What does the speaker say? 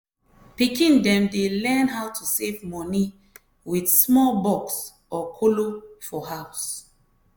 pikin dem dey learn how to save moni with small box or kolo for house.